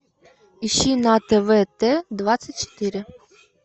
ищи на тв т двадцать четыре